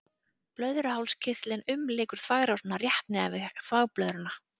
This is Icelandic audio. Blöðruhálskirtillinn umlykur þvagrásina rétt neðan við þvagblöðruna.